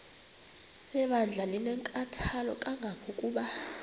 lebandla linenkathalo kangangokuba